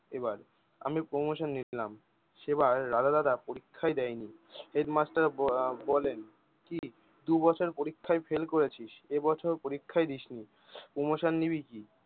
এবার আমি promotion নিলাম সেবার রাধা দাদার পরীক্ষাই দেয়নি। হেডমাস্টার ব আহ বলেন কি দুই বছর পরীক্ষায় ফেল করেছিস এ বছর পরীক্ষায় দিসনি promotion নিবি কি?